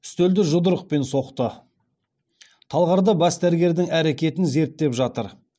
үстелді жұдырықпен соқты талғарда бас дәрігердің әрекетін зерттеп жатыр